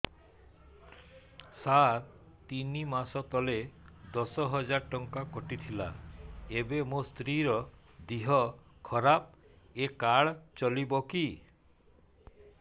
ସାର ତିନି ମାସ ତଳେ ଦଶ ହଜାର ଟଙ୍କା କଟି ଥିଲା ଏବେ ମୋ ସ୍ତ୍ରୀ ର ଦିହ ଖରାପ ଏ କାର୍ଡ ଚଳିବକି